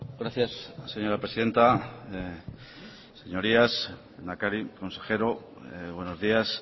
gracias señora presidenta señorías lehendakari consejero buenos días